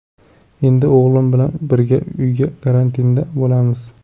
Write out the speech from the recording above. Endi o‘g‘lim bilan birga uy karantinida bo‘lamiz.